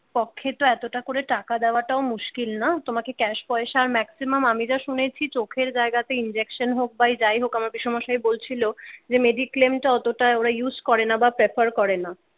পক্ষে তো এতটা করে টাকা দেওয়াটাও মুশকিল না তোমাকে ক্যাশ পয়সা আর ম্যাক্সিমাম আমি যা শুনেছি চোখের জায়গাতে injection হোক বা যাই হোক আমাকে পিসোমশাই বলছিল যে mediclaim অতটা ওরা ইউজ করে না বা পরেফর করে না।